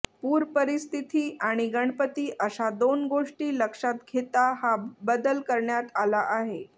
पूरपरिस्थिती आणि गणपती अशा दोन गोष्टी लक्षात घेता हा बदल करण्यात आला आहे